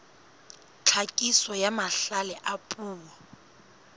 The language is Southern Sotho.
tlhakiso ya mahlale a puo